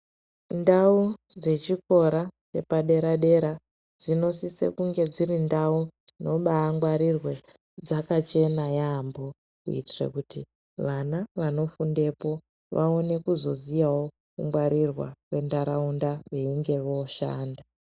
Ndau dzechikora chepadera-dera dzinosise kunge dziri ndau dzinobaangwarirwe, dzakachena yaambo kuitira kuti vana vanofundepo vaone kuzoziyawo kungwarirwa kwentaraunda veinge vooshanda.